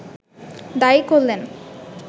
দায়ী করলেন